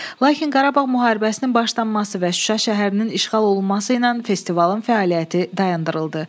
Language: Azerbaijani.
Lakin Qarabağ müharibəsinin başlanması və Şuşa şəhərinin işğal olunması ilə festivalın fəaliyyəti dayandırıldı.